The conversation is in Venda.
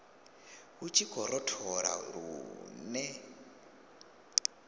hu tshi khou rothola lune